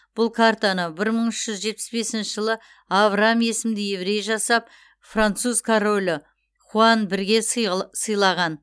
бұл картаны бір мың үш жүз жетпіс бесінші жылы авраам есімді еврей жасап француз королі хуан бірге сыйлаған